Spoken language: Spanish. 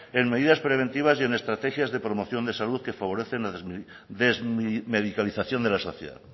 en medidas preventivas y estrategias de promoción de salud que favorecen la desmedicalización de la sociedad